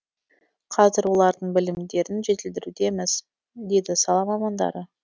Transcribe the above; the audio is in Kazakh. қазір олардың білімдерін жетілдірудеміз дейді сала мамандары